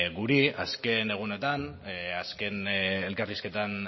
guri azken egunotan azken elkarrizketetan